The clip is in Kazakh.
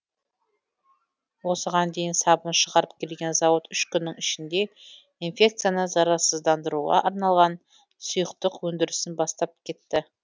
осыған дейін сабын шығарып келген зауыт үш күннің ішінде инфекцияны зарарсыздандыруға арналған сұйықтық өндірісін бастап кетті